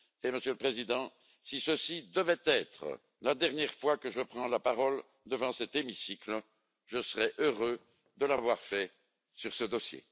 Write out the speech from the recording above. Monsieur le Président, si ceci devait être la dernière fois que je prends la parole devant cet hémicycle, je serais heureux de l'avoir fait sur ce dossier.